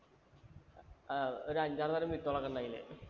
ആ ഒരു അഞ്ചാറു തരം വിത്തുകളൊക്കെ ഉണ്ട് അയില്